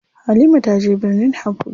Halima taje birnin Habuja.